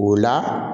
O la